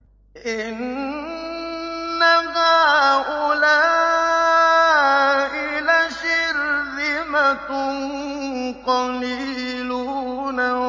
إِنَّ هَٰؤُلَاءِ لَشِرْذِمَةٌ قَلِيلُونَ